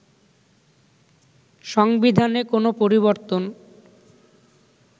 সংবিধানে কোন পরিবর্তন